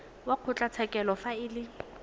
wa kgotlatshekelo fa e le